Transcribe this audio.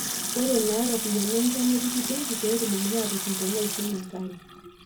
ore naa iropyiani enchann napiki benki pee etumokini aaatushum teneishunye enkare